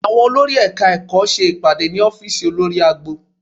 Àwọn olórí Ẹ̀ka-ẹ̀kọ́ ṣe ìpàdé ní ọ́fíìsì olórí agbo